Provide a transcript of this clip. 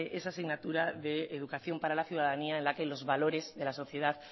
esa asignatura de educación para la ciudadanía en la que los valores de la sociedad